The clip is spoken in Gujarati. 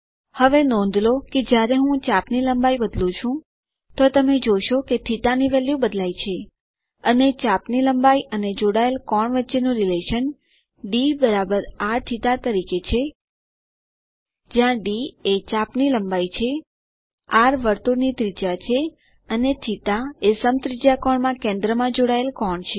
હવે નોંધ લો કે જ્યારે હું ચાપ ની લંબાઈ બદલું છું તો તમે જોશો કે θ ની વેલ્યુ બદલાય છે અને ચાપ ની લંબાઈ અને જોડાયેલ કોણ વચ્ચેનું સંબંધ d rθ તરીકે છે જ્યાં ડી એ ચાપ ની લંબાઈ છે આર વર્તુળ ની ત્રિજ્યા છે અને θ એ સમત્રિજ્યાકોણ માં કેન્દ્રમાં જોડાયેલ કોણ છે